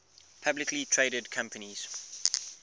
publicly traded companies